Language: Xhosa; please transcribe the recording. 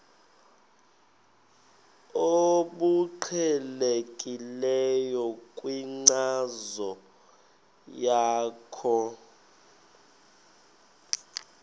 obuqhelekileyo kwinkcazo yakho